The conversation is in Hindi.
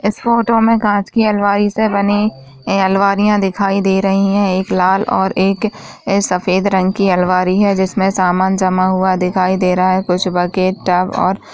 इस फोटो में कांच की अलमारी से बनी ए अलमारियां दिखाई दे रही हैं एक लाल और एक सफेद रंग की अलमारी है जिसमे सामान जमा हुआ दिखाई दे रहा है कुछ बकेट टब और --